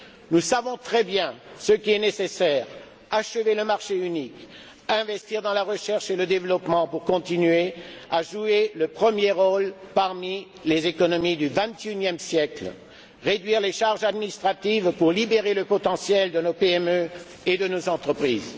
Nous savons très bien ce qui est nécessaire achever le marché unique, investir dans la recherche et le développement pour continuer à jouer le premier rôle parmi les économies du XXIe siècle et réduire les charges administratives pour libérer le potentiel de nos PME et de nos entreprises.